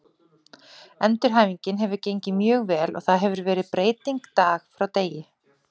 Endurhæfingin hefur gengið mjög vel og það hefur verið breyting dag frá degi.